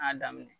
A y'a daminɛ